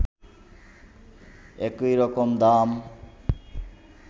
একই রকম দাম